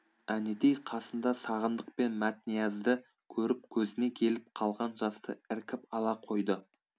әнетей қасында сағындық пен мәтниязды көріп көзіне келіп қалған жасты іркіп ала қойды